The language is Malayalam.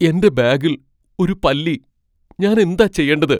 എന്റെ ബാഗിൽ ഒരു പല്ലി. ഞാൻ എന്താ ചെയ്യണ്ടത് ?